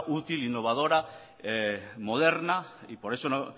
útil innovadora moderna y por eso